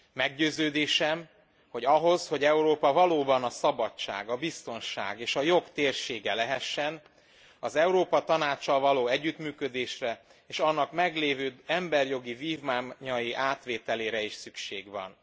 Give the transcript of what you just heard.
Meggyőződésem, hogy ahhoz, hogy Európa valóban a szabadság, a biztonság és a jog térsége lehessen, az Európa Tanáccsal való együttműködésre és annak meglévő emberi jogi vívmányai átvételére is szükség van.